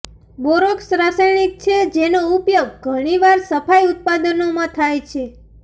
borax રાસાયણિક છે જેનો ઉપયોગ ઘણીવાર સફાઈ ઉત્પાદનોમાં થાય છે